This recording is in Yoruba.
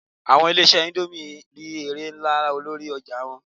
Àwọn ilé-ìṣẹ́ indomie n rí èrè nlá lórí ọjà wọn